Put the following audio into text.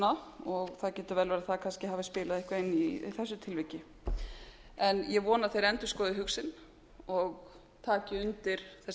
verið að það kannski hafi spilað eitthvað inn í í þessu tilviki en ég vona að þeir endurskoði hug sinn og taki undir þessa tillögu og